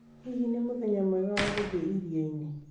Hihi nĩ mũthenya mwega wa gũthiĩ iria-inĩ?